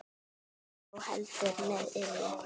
Líklega þó heldur með illu.